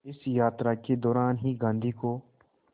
इस यात्रा के दौरान ही गांधी को